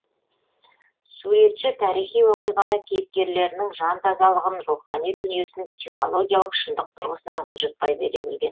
суретші тарихи оқиғаны кейіпкерлерінің жан тазалығын рухани дүниесін психологиялық шындық тұрғысынан бұлжытпай бере білген